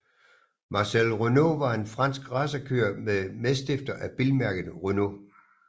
Marcel Renault var en fransk racerkører og medstifter af bilmærket Renault